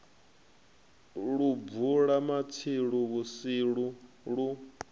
lu bvula matsilu vhutsilu lu